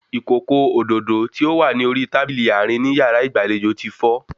Ìkòkò òdòdó tí ó wà ní orí tábìlì àárín ní yàrá ìgbàlejò ti fọ́